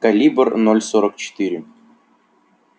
калибр ноль сорок четыре